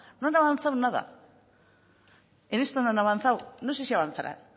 no han avanzado nada en esto no han avanzado no sé si avanzarán